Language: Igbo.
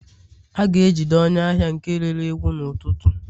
a ga-ejide onye ahia nke rere ewu n'ututu